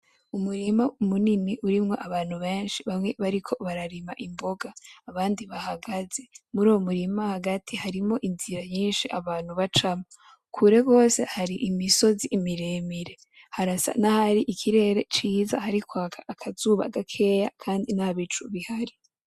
Umurima munini urimwo abantu benshi bamwe bariko bararima imbonga abandi bahagaze. Muruwo murima hagati hariho inzira nyinshi abantu bacamwo, kure gose hari imisozi imiremire. Harasa na hari ikirere ciza hari kwaka akazuba gakeya kandi ntabicu bihari.